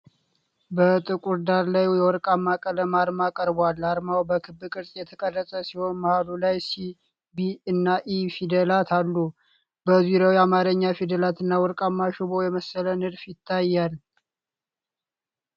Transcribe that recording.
በጥቁር ዳራ ላይ የወርቃማ ቀለም አርማ ቀርቧል። አርማው በክብ ቅርጽ የተቀረጸ ሲሆን መሃሉ ላይ "ሲ" ፣ “ቢ” እና “ኢ” ፊደላት አሉ። በዙሪያው የአማርኛ ፊደላት እና ወርቃማ ሽቦ የመሰለ ንድፍ ይታያል።